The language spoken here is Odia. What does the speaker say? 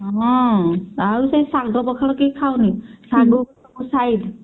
ହଁ ଆଉ ସେ ଶାଗ ପଖାଳ କେହି ଖାଉନି ଶାଗ side